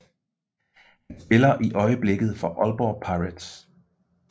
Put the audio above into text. Han spiller i øjeblikket for Aalborg Pirates